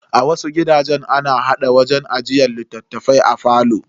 A wasu gidajen, ana hada wajen ajiyar littafai a falo.